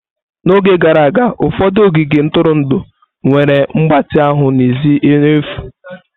N'oge gara aga, ụfọdụ ogige ntụrụndụ nwere mgbatị ahụ n'èzí n'efu.